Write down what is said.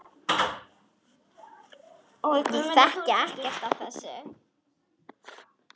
Ég þekki ekkert af þessu.